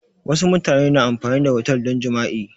Wassu mutane na amfani da otel don jima'i